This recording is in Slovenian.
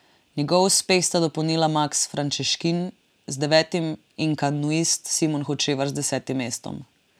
Njegov uspeh sta dopolnila Maks Frančeškin z devetim in kanuist Simon Hočevar z desetim mestom.